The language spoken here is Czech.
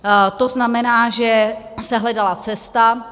To znamená, že se hledala cesta.